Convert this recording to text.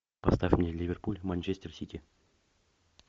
поставь мне ливерпуль манчестер сити